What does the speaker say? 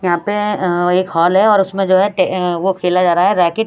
यहां पे अं एक हॉल है और उसमें जो हैं अं वो खेला जा रहा है रेकिट --